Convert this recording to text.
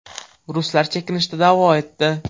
Ruslar chekinishda davo etdi.